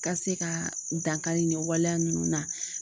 Ka se ka dankari nin waleya ninnu na.